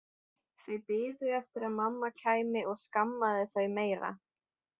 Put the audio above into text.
Þau biðu eftir að mamma kæmi og skammaði þau meira.